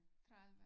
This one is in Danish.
30